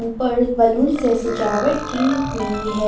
उपर बैलून से सजावट की हुई है।